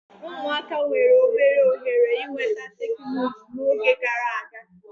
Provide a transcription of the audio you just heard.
Ụmụaka nwere obere ohere ịnweta teknụzụ n'oge gara aga.